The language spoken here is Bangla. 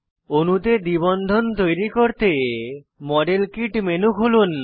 অণুতে দ্বিবন্ধন তৈরী করতে মডেল কিট মেনু খুলুন